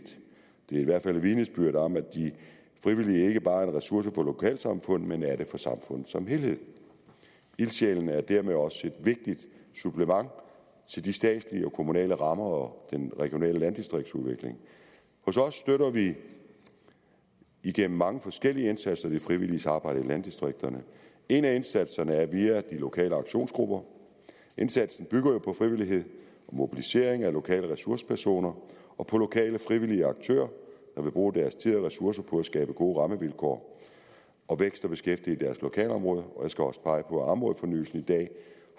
det er i hvert fald et vidnesbyrd om at de frivillige ikke bare er en ressource for lokalsamfund men er det for samfundet som helhed ildsjælene er dermed også et vigtigt supplement til de statslige og kommunale rammer og den regionale landdistriktsudvikling hos os støtter vi igennem mange forskellige indsatser det frivillige samarbejde i landdistrikterne en af indsatserne er via de lokale aktionsgrupper indsatsen bygger jo på frivillighed og mobilisering af lokale ressourcepersoner og på lokale frivillige aktører der vil bruge deres tid og ressourcer på at skabe gode rammevilkår og vækst og beskæftigelse i deres lokalområde og jeg skal også pege på at områdefornyelsen i dag